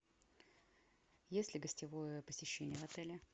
есть ли гостевое посещение в отеле